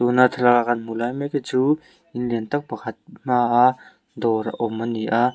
na thlalak a kan hmuhlai mek hi chu in lian tâk pakhat hma a dawr awm ani a.